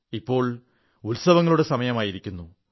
ഇപ്പോൾ ഉത്സവങ്ങളുടെ സമയമായിരിക്കുന്നു